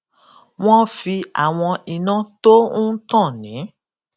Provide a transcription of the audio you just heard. wón fi àwọn iná tó ń tàn ní